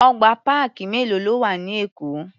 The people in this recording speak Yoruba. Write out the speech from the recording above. Ọgbà páàkì mélòó ló wà ní Èkó?